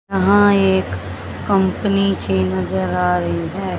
यहां एक कंपनी सी नजर आ रही है।